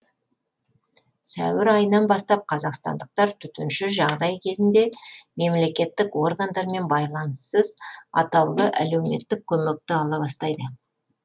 сәуір айынан бастап қазақстандықтар төтенше жағдай кезінде мемлекеттік органдармен байланыссыз атаулы әлеуметтік көмекті ала бастайды